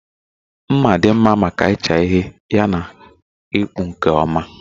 Mma dị mma maka ịcha ihe yana ịkpụ nke ọma